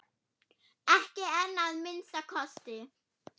Ekki enn að minnsta kosti.